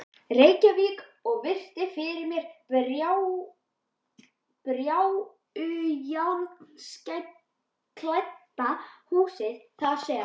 Reykjavík og virti fyrir mér bárujárnsklædda húsið þar sem